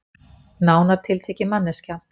Nánar tiltekið manneskja.